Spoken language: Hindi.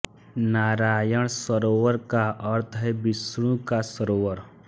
नारायण सरोवर का अर्थ है विष्णु का सरोवर